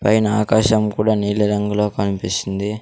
పైన ఆకాశం కూడా నీలీ రంగులో కనిపిస్తుంది.